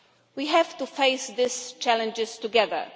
We have to face these challenges together.